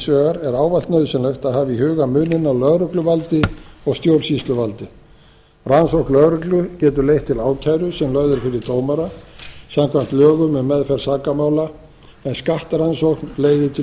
vegar er ávallt nauðsynlegt að hafa í huga muninn á lögregluvaldi og stjórnsýsluvaldi rannsókn lögreglu getur leitt til ákæru sem lögð er fyrir dómara samkvæmt lögum um meðferð sakamála en skattrannsókn leiðir til